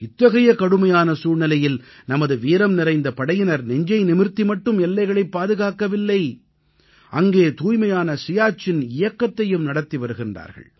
இத்தகைய கடுமையான சூழ்நிலையில் நமது வீரம்நிறைந்த படையினர் நெஞ்சை நிமிர்த்தி மட்டும் எல்லைகளைப் பாதுகாக்கவில்லை அங்கே தூய்மையான சியாச்சின் இயக்கத்தையும் நடத்தி வருகிறார்கள்